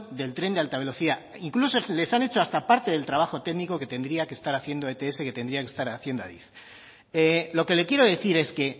del tren de alta velocidad incluso les han hecho hasta parte del trabajo técnico que tendría que estar haciendo ets que tendría que estar haciendo adif lo que le quiero decir es que